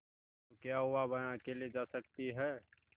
तो क्या हुआवह अकेले जा सकती है